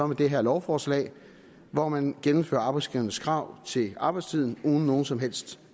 det her lovforslag hvor man gennemfører arbejdsgivernes krav til arbejdstiden uden noget som helst